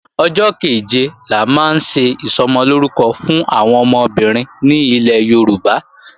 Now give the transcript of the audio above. Ọjọ́ kẹ̀jẹ la máa ń ṣe Ìsọmọlórúkọ fún àwọn ọmọbìnrin ní ilẹ̀ Yorùbá